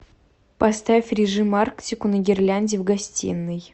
поставь режим арктику на гирлянде в гостиной